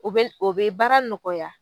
O be o be baara nɔgɔya